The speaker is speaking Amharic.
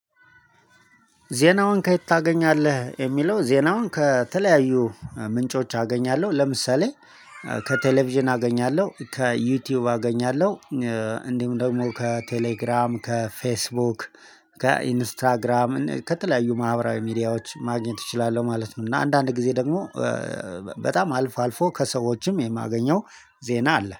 ዜናውን ከየት ታገኛለህ የሚለው? ዜናውን ከተለያዩ ምንጮች አገኛለሁ ለምሳሌ ከቴሌቪዥን አገኛለሁ ከዩቲዩብ አገኛለሁ። እንዲሁም ደግሞ ከቴሌግራም ከፌስቡክ ከኢንስታግራም እና ከተለያዩ ማህበራዊ ሚዲያዎች ማግኘት እችላለሁ ማለት ነው። እና አንዳንድ ጊዜ ደግሞ በጣም አልፎ አልፎ ከሰዎችም የማገኘው ዜና አለ